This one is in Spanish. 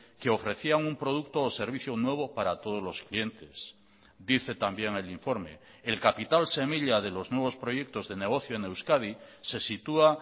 que ofrecía un producto o servicio nuevo para todos los clientes dice también el informe el capital semilla de los nuevos proyectos de negocio en euskadi se sitúa